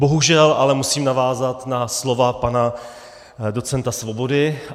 Bohužel ale musím navázat na slova pana docenta Svobody.